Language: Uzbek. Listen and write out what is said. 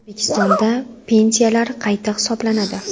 O‘zbekistonda pensiyalar qayta hisoblanadi.